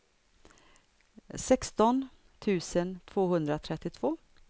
sexton tusen tvåhundratrettiotvå